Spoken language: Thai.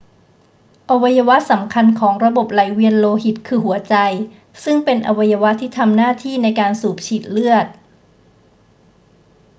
อวัยวะสำคัญของระบบไหลเวียนโลหิตคือหัวใจ ซึ่งเป็นอวัยวะที่ทำหน้าที่ในการสูบฉีดเลือด